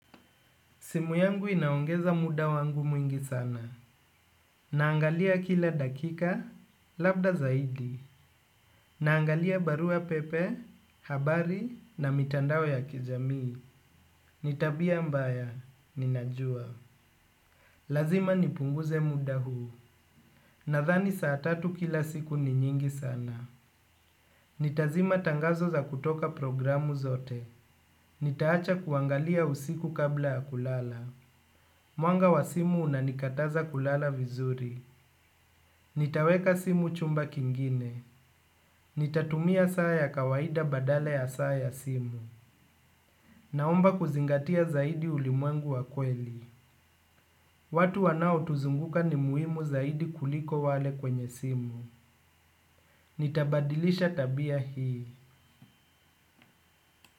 Simu yangu inaongeza muda wangu mwingi sana. Naangalia kila dakika, labda zaidi. Naangalia barua pepe, habari na mitandao ya kijamii. Ni tabia mbaya, ninajua. Lazima nipunguze muda huu. Nathani saa tatu kila siku ni nyingi sana. Nitazima tangazo za kutoka programu zote. Nitaacha kuangalia usiku kabla ya kulala. Mwanga wa simu unanikataza kulala vizuri. Nitaweka simu chumba kingine. Nitatumia saa ya kawaida badala ya saa ya simu. Naomba kuzingatia zaidi ulimwengu wa kweli. Watu wanaotuzunguka ni muimu zaidi kuliko wale kwenye simu. Nitabadilisha tabia hii.